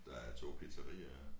Der er 2 pizzariaer